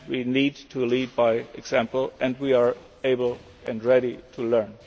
way. We need to lead by example, and we are able and ready to